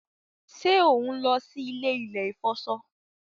ṣe on ló sì ilé ilè ifọṣọ?